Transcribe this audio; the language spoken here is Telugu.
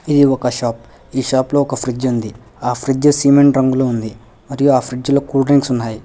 ఇది ఒక షాప్ ఈ షాప్ లో ఒక ఫ్రిడ్జ్ ఉంది ఆ ఫ్రిడ్జ్ సిమెంట్ రంగులో ఉంది మరియు ఆ ఫ్రిడ్జ్లో కూల్ డ్రింక్స్ ఉన్నాయి.